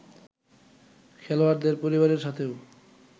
খেলোয়াড়দের পরিবারের সাথেও